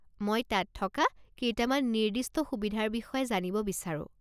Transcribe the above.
মই তাত থকা কেইটামান নিৰ্দিষ্ট সুবিধাৰ বিষয়ে জানিব বিচাৰোঁ।